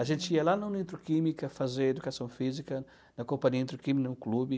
A gente ia lá no Nitroquímica fazer educação física, na companhia Nitroquímica, no clube.